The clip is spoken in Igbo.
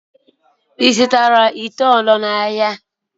Ị zụtara ite ọ̀zọ́ n'ahịa?